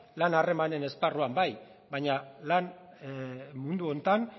lan harremanen esparruan bai baina lan mundu honetan